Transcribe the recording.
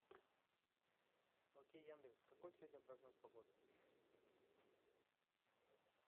окей яндекс какой сегодня прогноз погоды